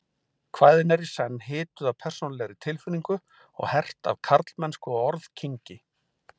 Kvæðin eru í senn hituð af persónulegri tilfinningu og hert af karlmennsku og orðkynngi.